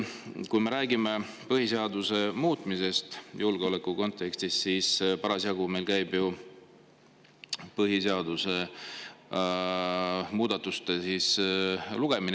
Kui me räägime põhiseaduse muutmisest julgeoleku kontekstis, siis parasjagu meil käib ju põhiseaduse muutmise.